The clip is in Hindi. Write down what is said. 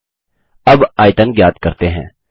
अब आयतन ज्ञात करते हैं